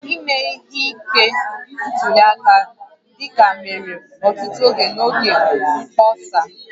Ime ihe ike ntuli aka dịka mere ọtụtụ oge n'oge mkpọsa